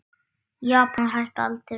Japanir hækka aldrei róminn.